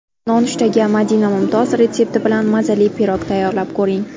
Nonushtaga Madina Mumtoz retsepti bilan mazali pirog tayyorlab ko‘ring .